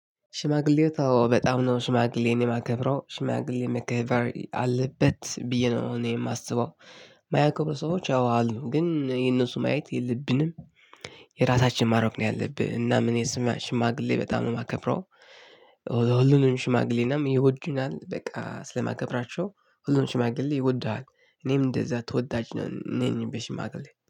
ሽማግሌው ተወ በጣም ነው ሽማግሌን የማከብረው ሽማግሌ መከበር አለበት ብዬ ነው እኔ የማስበው። ማያክብሩ ሰዎች አው አሉ ግን የነሱ ማየት የለብንም። የራሳችን ማረቅ ነው ያለብህ እናም እኔ ስማ ሽማግሌ በጣም ነው የማከብረው። ሁሉንም ሽማግሌ እናም ይወዱናል በቃ ስለማከብራቸው ሁሉን ሽማግሌ ይወድሃል። እኔም እንደዛ ተወዳጅ ነኝ በሽማግሌ